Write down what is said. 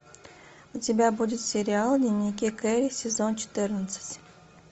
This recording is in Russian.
у тебя будет сериал дневники кэрри сезон четырнадцать